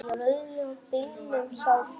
Í rauða bílnum hjá þér.